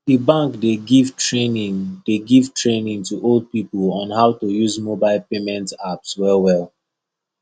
the bank dey give training dey give training to old people on how to use mobile payment apps wellwell